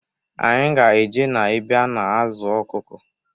Anyị ga eje na-ebe a na-azụ ọkụkụ.